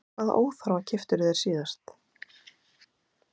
Hvaða óþarfa keyptirðu þér síðast?